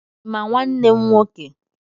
Ị ma nwanne m nwoke?